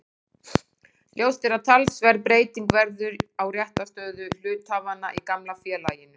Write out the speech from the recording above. Ljóst er að talsverð breyting verður á réttarstöðu hluthafanna í gamla félaginu.